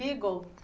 Beagle?